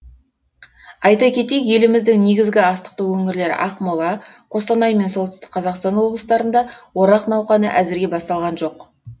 айта кетейік еліміздің негізгі астықты өңірлері ақмола қостанай мен солтүстік қазақстан облыстарында орақ науқаны әзірге басталған жоқ